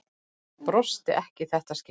Brosti ekki í þetta skipti.